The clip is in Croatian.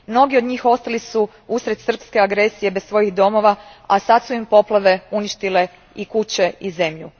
Mnogi od njih ostali su uslijed srpske agresije bez domova, a sad su im poplave uništile i kuće i zemlju.